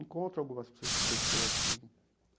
Encontro algumas pessoas, sim.